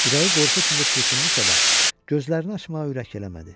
Ürəyi qorxu içində çırpındısa da, gözlərini açmağa ürək eləmədi.